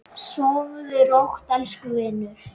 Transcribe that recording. Sofðu rótt, elsku vinur.